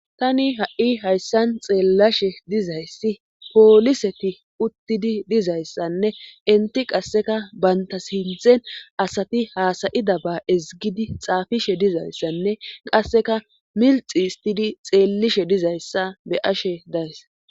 tani ha7i hayssan xeellashe dizayssi pooliseti uttidi dizayssanne inti qasseka baynta sinthen asati haasayida ba ezgidi xaafishe dizayssanne qasseka milxi istidi xeellishe dizayssa be ashe days